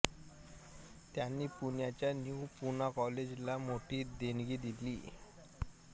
त्यांनी पुण्याच्या न्यू पूना कॉलेजला मोठी देणगी दिली